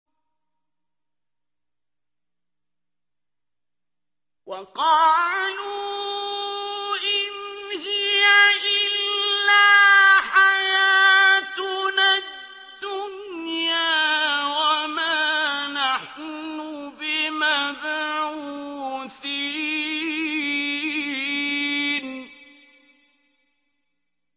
وَقَالُوا إِنْ هِيَ إِلَّا حَيَاتُنَا الدُّنْيَا وَمَا نَحْنُ بِمَبْعُوثِينَ